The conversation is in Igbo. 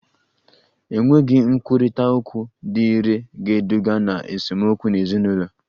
Enweghị nkwurịta okwu dị irè ga-eduga ná esemokwu n'ezinụlọ